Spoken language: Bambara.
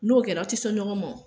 N'o kɛra an te se ɲɔgɔn ma.